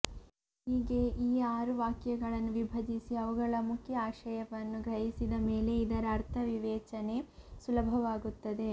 ಹೀಗೆ ಈ ಆರು ವಾಕ್ಯಗಳನ್ನು ವಿಭಜಿಸಿ ಅವುಗಳ ಮುಖ್ಯ ಆಶಯವನ್ನು ಗ್ರಹಿಸಿದ ಮೇಲೆ ಇದರ ಅರ್ಥವಿವೇಚನೆ ಸುಲಭವಾಗುತ್ತದೆ